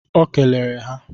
O kelere ha